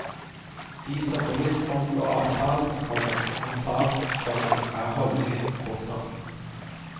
De som bevisst omgår avtalen, komma må tas, komma er holdningen. punktum